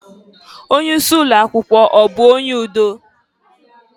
Onye isi ụlọakwụkwọ ọ bụ onye udo?